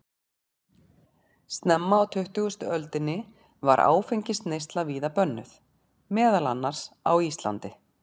Snemma á tuttugustu öldinni var áfengisneysla víða bönnuð, meðal annars á Íslandi.